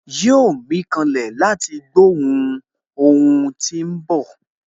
Yóò mí kanlẹ̀ láti gbó ohun tí óhún bọ̀